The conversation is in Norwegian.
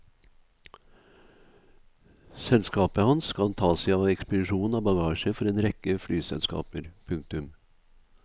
Selskapet hans skal ta seg av ekspedisjonen av bagasje for en rekke flyselskaper. punktum